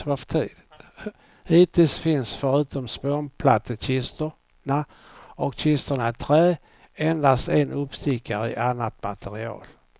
Hittills finns förutom spånplattekistorna och kistorna i trä, endast en uppstickare i annat material.